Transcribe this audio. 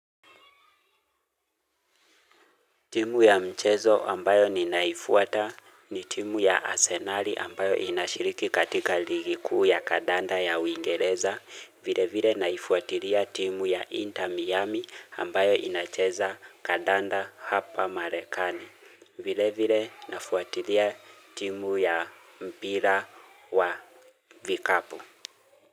Timu ya mchezo ambayo nina ifuata ni timu ya arsenali ambayo inashiriki katika ligi kuu ya kadanda ya wingereza vile vile naifuatilia timu ya inter miami ambayo inacheza kandanda hapa marekani vile vile nafuatilia timu ya mpira wa vikapu.